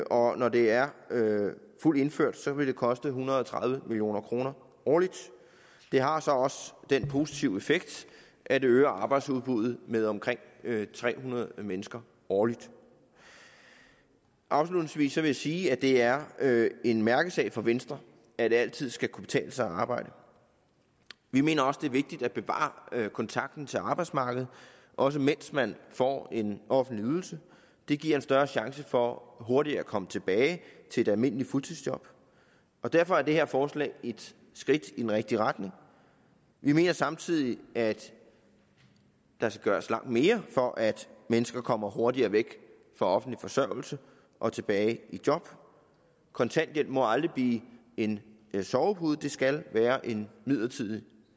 og når det er fuldt indført vil det koste en hundrede og tredive million kroner årligt det har så også den positive effekt at øge arbejdsudbuddet med omkring tre hundrede mennesker årligt afslutningsvis vil jeg sige at det er en mærkesag for venstre at det altid skal kunne betale sig at arbejde vi mener også det er vigtigt at bevare kontakten til arbejdsmarkedet også mens man får en offentlig ydelse det giver en større chance for hurtigere at komme tilbage til et almindeligt fuldtidsjob og derfor er det her forslag et skridt i den rigtige retning vi mener samtidig at der skal gøres langt mere for at mennesker kommer hurtigere væk fra offentlig forsørgelse og tilbage i job kontanthjælp må aldrig blive en sovepude det skal være en midlertidig